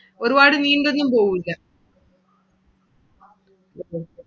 ഒരുപാടു പോവൂല്ല.